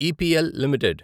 EPL limited